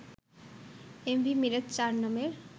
M V মিরাজ-৪ নামের